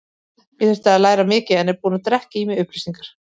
Ég þurfti að læra mikið en er búinn að drekka í mig upplýsingar.